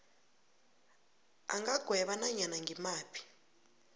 angagweba nanyana ngimaphi